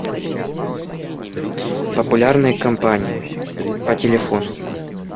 популярные компании по телефону